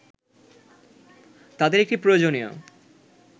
তাঁদের একটি প্রয়োজনীয়